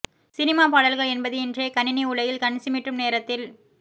cinema பாடல்கள் என்பது இன்றைய கணணி உலகில் கண் சிமிட்டும் நேரத்தில்